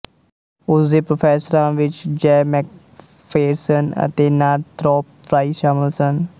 ਉਸ ਦੇ ਪ੍ਰੋਫੈਸਰਾਂ ਵਿੱਚ ਜੈ ਮੈਕਫੇਰਸ਼ਨ ਅਤੇ ਨਾਰਥਰੌਪ ਫਰਾਈ ਸ਼ਾਮਲ ਸਨ